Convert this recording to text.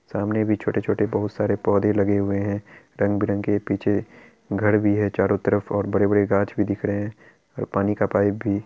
सामने भी छोटे-छोटे बहुत सारे पौधे लगे हुए हैं| रंग-बिरंगे पीछे घर भी है चारों तरफ और बड़े-बड़े गाछ भी दिख रहे हैं पानी का पाइप भी।